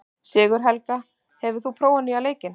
Sigurhelga, hefur þú prófað nýja leikinn?